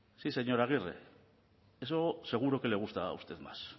sí señora agirre eso seguro que le gusta a usted más